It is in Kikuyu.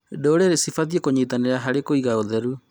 Ndũrĩrĩ cibatiĩ kũnyitanĩra harĩ kũiga ũtheru